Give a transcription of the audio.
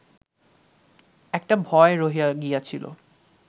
একটা ভয় রহিয়া গিয়াছিল